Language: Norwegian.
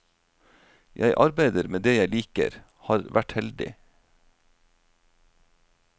Jeg arbeider med det jeg liker, har vært heldig.